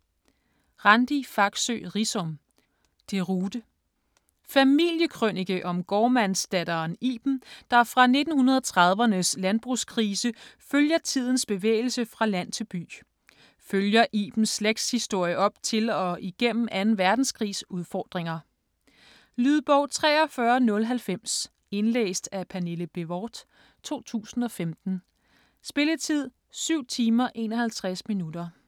Riisom, Randi Faxøe: Deroute Familiekrønike om gårdmandsdatteren Iben, der fra 1930'ernes landbrugskrise følger tidens bevægelse fra land til by. Følger Ibens slægtshistorie op til og igennem 2. verdenskrigs udfordringer. Lydbog 43090 Indlæst af Pernille Bévort, 2015. Spilletid: 7 timer, 51 minutter.